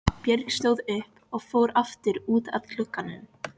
Björg stóð upp og fór aftur út að glugganum.